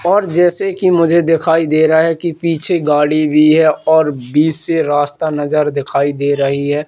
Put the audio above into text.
और जैसे कि मुझे दिखाई दे रहा है कि पीछे गाड़ी भी है और बीच से रास्ता नजर दिखाई दे रही है।